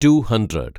to hundred